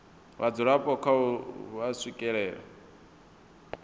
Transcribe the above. vhadzulapo kha uri vha swikelela